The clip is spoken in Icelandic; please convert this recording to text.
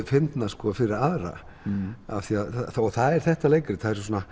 fyndnar fyrir aðra það er þetta leikrit